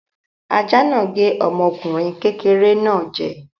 Ajá náà gé ọmọkùnrin kékeré náà jẹ.